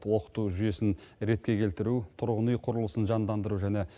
оқыту жүйесін ретке келтіру тұрғын үй құрылысын жандандыру және